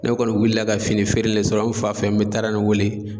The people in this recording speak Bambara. Ne kɔni wulila ka fini feere le sɔrɔ n fa fe yen n mi taara nin wele